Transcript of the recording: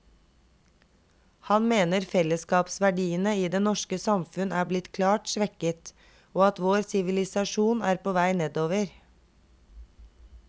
Han mener fellesskapsverdiene i det norske samfunn er blitt klart svekket, og at vår sivilisasjon er på vei nedover.